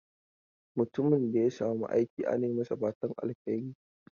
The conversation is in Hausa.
Mutumin da ya samu aiki ana yi masa fatan alheri.